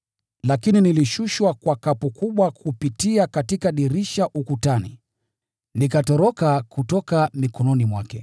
Lakini nilishushwa kwa kapu kubwa kupitia katika dirisha ukutani, nikatoroka kutoka mikononi mwake.